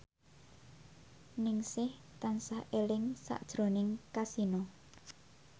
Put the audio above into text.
Ningsih tansah eling sakjroning Kasino